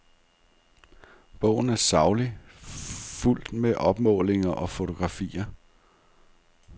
Bogen er saglig, fuldt med opmålinger og fotografier.